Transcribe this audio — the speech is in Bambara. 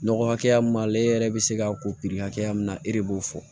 Nɔgɔ hakɛya min b'ale yɛrɛ bɛ se k'a ko piri hakɛya min na e de b'o fɔ